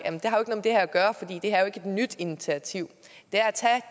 har ikke et nyt initiativ